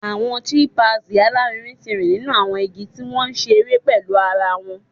Awọn chimpanzees alarinrin ti nrin ninu awọn igi ti wọn nṣere pẹlu ara wọn